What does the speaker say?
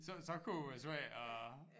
Så så kunne det være svært at